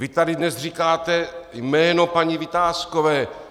Vy tady dnes říkáte jméno paní Vitáskové.